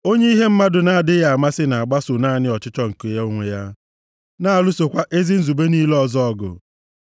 Onye ihe mmadụ na-adịghị amasị na-agbaso naanị ọchịchọ nke ya onwe ya, na-alụsokwa ezi nzube niile ọzọ ọgụ.